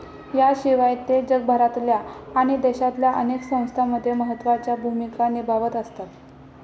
याशिवाय ते जगभरातल्या आणि देशातल्या अनेक संस्थांमध्ये महत्वाच्या भूमिका निभावत असतात.